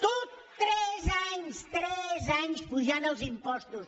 tot tres anys tres anys apujant els impostos